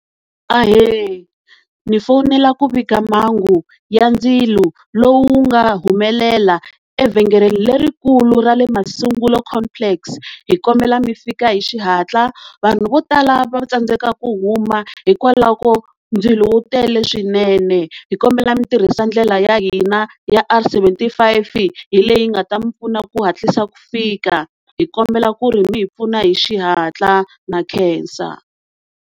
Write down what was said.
Ahee, ni fonela ku vika mhangu ya ndzilo lowu nga humelela evhengeleni lerikulu ra le Masungulo complex hi kombela mi fika hi xihatla, vanhu vo tala va tsandzeka ku huma hikwalaho ko ndzilo wu tele swinene, hi komba mi tirhisa ndlela ya hina ya R seventy-five hi leyi yi nga ta mi pfuna ku hatlisa ku fika, hi kombela ku ri mi hi pfuna hi xihatla, na khensa.